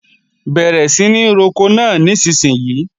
Bẹ̀rẹ̀ sí ní roko náà nísinsìnyí!